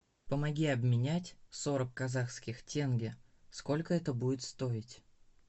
помоги обменять сорок казахских тенге сколько это будет стоить